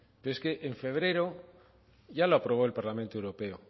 pero es que en febrero ya lo aprobó el parlamento europeo